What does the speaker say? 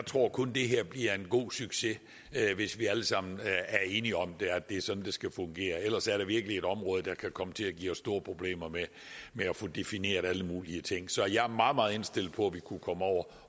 tror kun det her bliver en god succes hvis vi alle sammen er enige om at det er sådan det skal fungere og ellers er det virkelig et område der kan komme til at give os store problemer med at få defineret alle mulige ting så jeg er meget meget indstillet på at vi kunne komme over